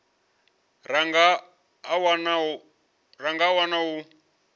ra nga a wana u